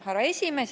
Härra esimees!